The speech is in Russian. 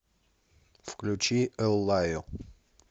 включи эллаю